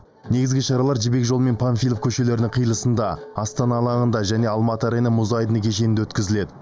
негізгі шаралар жібек жолы мен панфилов көшелерінің қиылысында астана алаңында және алматы арена мұз айдыны кешенінде өткізіледі